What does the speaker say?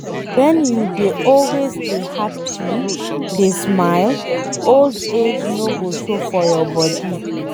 wen you dey always dey happy, dey smile, old age no go show for your body